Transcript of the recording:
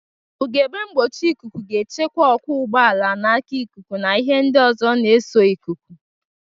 Ugegbe mgbochi ikuku ga-echekwe ọkwọ ụgbọala n'aka ikuku na ihe ndị na-eso ikuku.